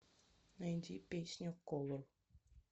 найди песню колор